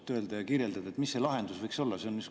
Oskate öelda ja kirjeldada, mis see lahendus võiks olla?